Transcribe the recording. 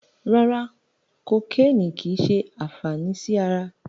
Rárá, kokéènì kìí ṣe àǹfàní sí ara.